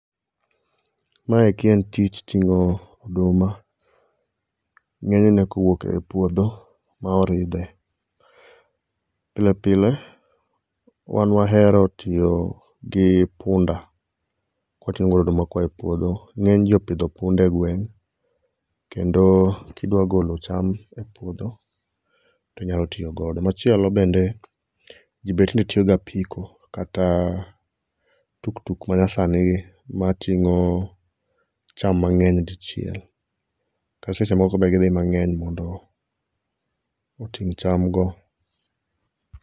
Maeki en tich ting'o oduma. Ng'enyne kowuok e puodho ma oridhe. Pile pile wan wahero tiyo gi punda kwating'o godo oduma koa e puodho. Ng'eny ji opidho punde e gweng', kendo kidwa golo cham e puodho, tinyalo tiyo godo. Machielo bende ji be tinde tiyo gi apiko kata tuk tuk ma nyasani gim, matingo cham mang'eny dichiel . Kata seche moko